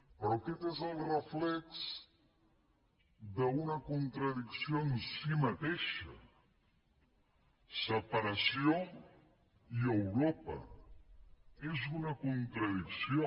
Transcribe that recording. però aquest és el reflex d’una contradicció en si mateixa separació i europa és una contradicció